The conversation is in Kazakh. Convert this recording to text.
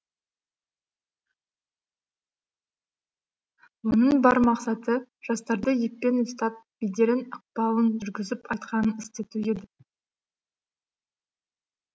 оның бар мақсаты жастарды еппен ұстап беделін ықпалын жүргізіп айтқанын істету ед